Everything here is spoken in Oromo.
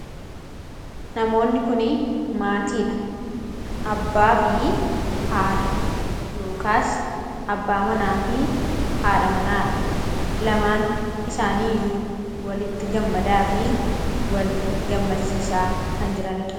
Namoonni kunii maatii dha. Abbaa fi haadha (abbaa manaa fi haadha manaa) dha. Lamaan isaaniiyyuu walitti gammadaa fi wal gammachiisaa kan jiranidha.